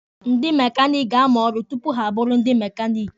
Ndị mekaniki ga-amụ ọrụ tupu ha abụrụ ndị mekaniki.